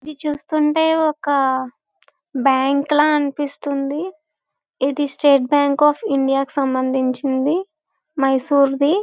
ఇది చూస్తుంటే ఒక బ్యాంకు ల అనిపిస్తుంది. ఇది స్టేట్ బ్యాంకు అఫ్ ఇండియా కి సంబంధించింది. మైసూర్ ది.